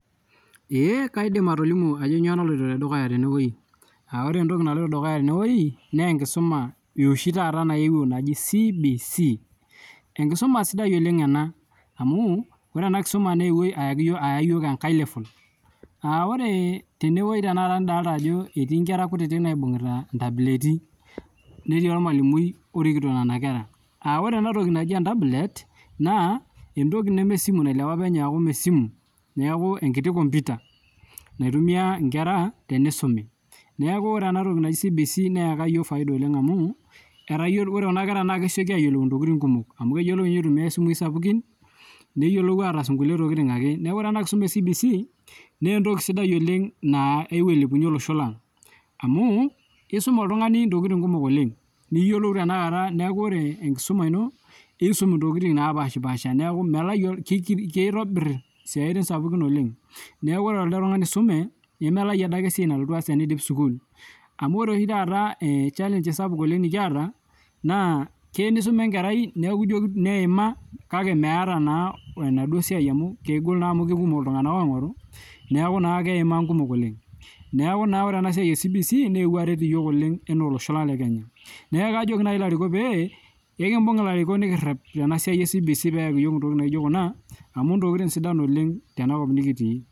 Eee kaidim atolimu ajo nyoo naloto dukuta tenewueji, ore entoki naloto dukuya tenewueji naaa enkisuma naewuo taata naji CBC,enkisuma sidai oleng ana, amuu ore ena enkisuma neewuo aayaki yook aya yook enkae level. Naaku ore tenewueji taata nidolita ajo etii inkera kutiti naibung'ta ntabuleeti, netii olmwalumui orikito nena kera. Ore enatoki nai entabulet naa entoki nemee esimu nailiapa apa ninye aaku esimu, naaku enkiti komputa neitumiya ikera teneisumi, naaku otre enatoki naji CBC neeka yook efaida oleng amuu, etayiolo ore kuna kera naa kesioki ayiolou ntokitin kumok amu keyiolou ninye aitumiyai simui sapukin, neyiolou ataasa nkule tokitin ake. Naaku ore ena nkisuma e CBC nee entoki sidai oleng naa ewuo ailepunye losho lang, amuu keisuma iltungani ntokitin kumok oleng, niyiolou tenakata naaku ore enkisuma ino, iisum ntiokitin napaashpasha naaku keitobirr siatin sapukin oleng, neaku ore alde tungani osome nemelau adake esiai nalotu aas teneidim esukuul amu ore oshi taata echallange sapuk oleng nikieta, naa keya neisuma enkerai naku ijo neima kake meeta naa enaduo siai amu kegol amu kekumok iltungana oing'oru, neeku naa keimaa nkumok oleng. Neaku naa ore ena siai e CBC neewuo aret yook oleng enaa losho lang le Kenya, neaku kajoki nai ilarikok pee, pekimbung' ilarikok nikirep tena siai e CBC peeaki yook ntokitin naijo kuna, amu ntokitin sidan oleng tenakop nikitii.